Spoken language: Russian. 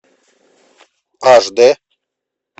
аш дэ